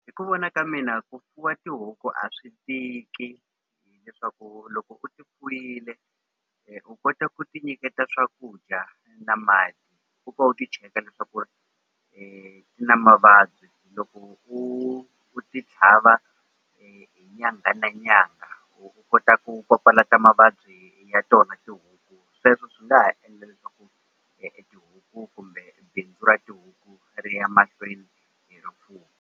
Hi ku vona ka mina ku fuwa tihuku a swi tiki leswaku loko u ti fuyile u kota ku ti nyiketa swakudya na mati u pfa u ti cheka leswaku ri ti na mavabyi loko u u ti tlhava hi nyangha na nyangha u kota ku papalata mavabyi ya tona tihuku sweswo swi nga ha endla leswaku tihuku kumbe bindzu ra tihuku ri ya mahlweni .